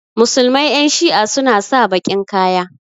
musulmai Yan shi'a suna sa bakin Kaya.